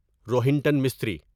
Rohinton mystery